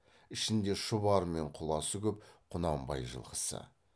ішінде шұбары мен құласы көп құнанбай жылқысы